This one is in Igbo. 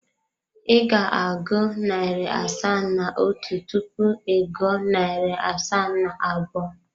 Ị ga-agụ narị asaa na otu tupu ị gụọ narị asaa na abụọ.